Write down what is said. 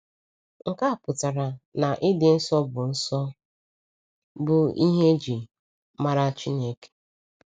Nke a pụtara na ịdị nsọ bụ nsọ bụ ihe e ji mara Chineke.